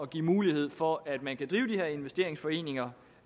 give mulighed for at man kan drive de her investeringsforeninger